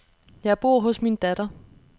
Jeg bor hos min datter.